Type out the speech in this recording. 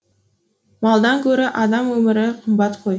малдан гөрі адам өмірі қымбат қой